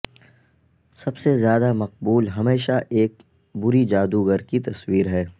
سب سے زیادہ مقبول ہمیشہ ایک بری جادوگر کی تصویر ہے